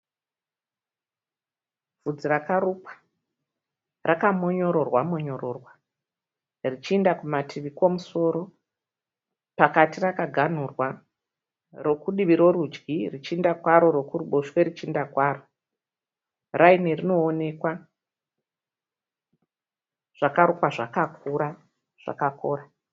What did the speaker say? Vhudzi rakarukwa raka monyororwa monyororwa. Richiinda kumativi kwomusoro. Pakati rakaganhurwa. Reku divi rorudyi richienda kwaro rokuruboshwe richienda kwaro. Raini rinoonekwa. Zvakarukwa zvakakura, zvakakora.